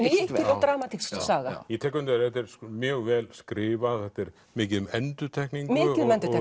og dramatísk saga ég tek undir að þetta er mjög vel skrifað mikið um endurtekningu og